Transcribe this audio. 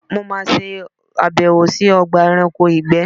Mo má ṣe àbẹ̀wò sí Ogba eranko ìgbé